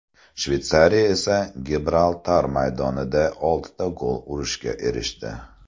Shveysariya esa Gibraltar maydonida oltita gol urishga erishdi.